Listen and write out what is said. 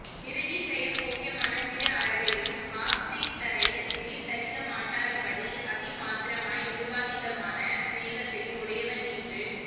நிரதிசய போக்யமான திரு அழகையும் ஆஸ்ரிதரை விடில் தரிக்க மாட்டாத படி அதிமாத்ரமாய் நிருபாதிகமான ஸ்நேஹத்தையும் உடையவன் என்று